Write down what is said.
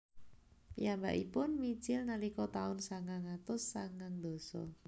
Piyambakipun mijil nalika taun sangang atus sangang dasa